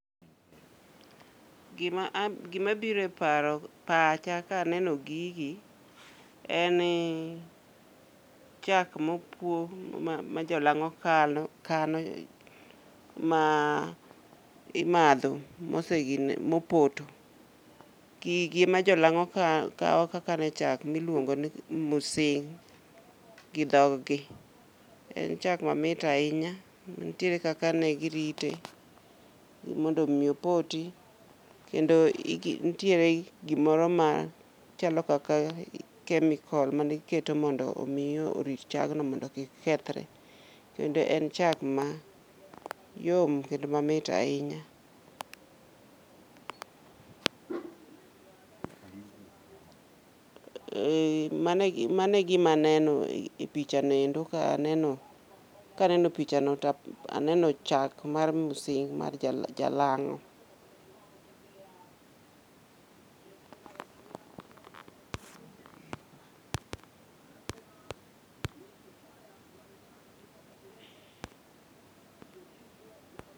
Gima a gimabiro e paro, pacha ka aneno gigi eni chak mopuo ma jolang'o kano ma imadho mose gine, mopoto. Gigi ema jolang'o kawo ka kane chak miluongo ni musing, gi dhog gi. En chak ma mit ahinya, nitiere kaka ne girite mondo mi opoti. Kendo igi ntiere gimoro ma chalo kaka kemikol mane iketo mondo mi orit chagno mondo kik kethre. Kendo en chak ma yom kendo ma mit ahinya. Ee, mane mano e gima aneno e picha noendo ka aneno kaneno picha no taneno chak mar musing mar jalang'o.